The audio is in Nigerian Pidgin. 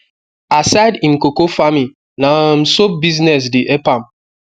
aside him coco farming na um soap business de help am